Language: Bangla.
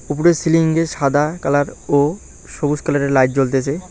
উপরের সিলিংয়ে সাদা কালার ও সবুজ কালারের লাইট জ্বলতেসে।